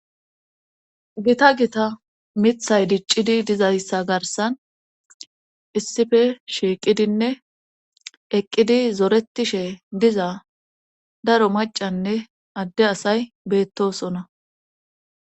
Gita gita mithay diccidi dizayssa garsan issife shiiqidinne eqqidi zoretishe diza daro macanne adde asay beettosona